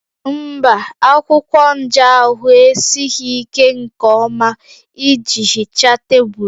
Mba, akwụkwọ nja ahụ esighị ike nke ọma iji hichaa tebụl